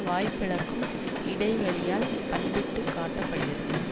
வாய்பிளக்கும் இடைவெளியால் பண்பிட்டுக் காட்ட படுகிறது